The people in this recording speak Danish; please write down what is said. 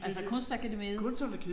Altså Kunstakademiet?